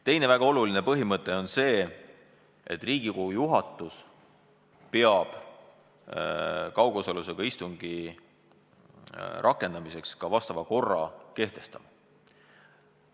Teine väga oluline põhimõte on see, et Riigikogu juhatus peab kaugosalusega istungi võimaluse rakendamiseks ka vastava korra kehtestama.